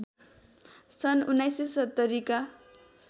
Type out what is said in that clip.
सन् १९७० का